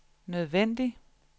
nødvendig